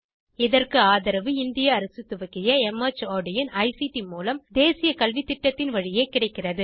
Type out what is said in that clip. இதற்கு ஆதரவு இந்திய அரசு துவக்கிய மார்ட் இன் ஐசிடி மூலம் தேசிய கல்வித்திட்டத்தின் வழியே கிடைக்கிறது